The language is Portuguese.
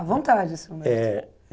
A vontade, senhor. Eh